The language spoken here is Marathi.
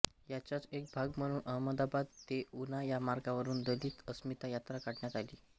ह्याचाच एक भाग म्हणून अहमदाबाद ते उना या मार्गावरून दलित अस्मिता यात्रा काढण्यात आली